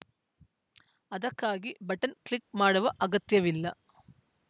ಅದಕ್ಕಾಗಿ button click ಮಾಡುವ ಅಗತ್ಯವಿಲ್ಲ